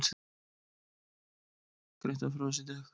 Greint var frá þessu í dag